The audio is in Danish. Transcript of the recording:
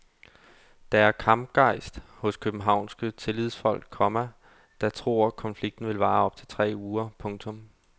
Der er kampgejst hos københavnske tillidsfolk, komma der tror konflikten vil vare op til tre uger. punktum